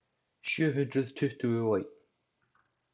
Sjöhundruð tuttugu og einn.